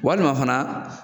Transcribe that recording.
Walima fana